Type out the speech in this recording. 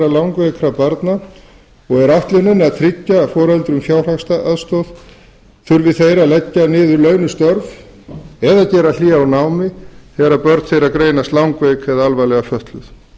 langveikra barna og er ætlunin að tryggja foreldrum fjárhagsaðstoð þurfi þeir að leggja niður launuð störf eða gera hlé á námi þegar börn þeirra greinast langveik eða alvarlega fötluð